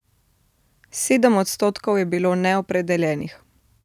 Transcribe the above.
Sedem odstotkov je bilo neopredeljenih.